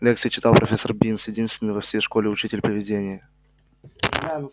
лекции читал профессор бинс единственный во всей школе учитель-привидение